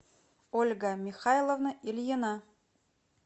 ольга михайловна ильина